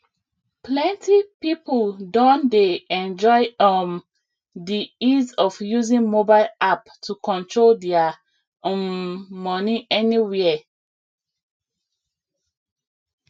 plenty people don dey enjoy um di ease of using mobile app to control dia um money anywhere